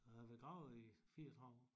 Jeg har været graver i 34 år